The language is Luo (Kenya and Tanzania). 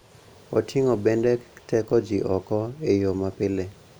Oting�o bende keto ji oko e yo mapile.